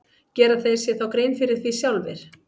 Gera þeir sér þá grein fyrir því sjálfir?